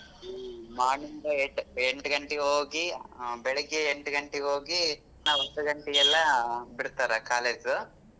ಹ್ಮ್ morning ಇಂದ eight ಎಂಟ್ ಗಂಟೆಗೆ ಬೆಳಿಗ್ಗೆ ಎಂಟ್ ಗಂಟೆಗೆ ಹೋಗಿ ನಾವು ಹತ್ತ್ ಗಂಟೆಗೆಲ್ಲ ಬಿಡ್ತಾರೆ college .